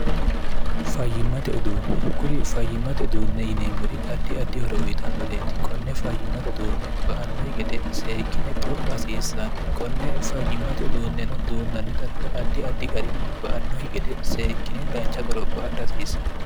fayyimmate uduunne kuri fayyimmate uduunne yineemmori addi addihoro uyitannoreeti konne fayyimmate uduunne ba annohi gede seekkine qoropha hasiissanno konne fayyimmate uduunneno duunnanni darga addi addi garinni ba annohi gede seekkine dancha qoropho adha hasiissanno